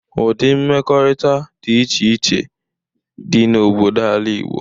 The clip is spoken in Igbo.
Ụdi mmekọrịta dị iche iche dị n'obodo ala Igbo.